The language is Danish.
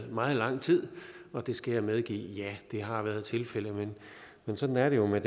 meget lang tid og det skal jeg medgive ja det har været tilfældet men sådan er det jo med